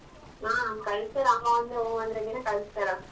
ಹ ಕಳಿಸ್ತಾರೆ ಅಮ್ಮ ಒಂದೆ ಹು ಅಂದ್ರೆ ಕಳಿಸ್ತಾರ.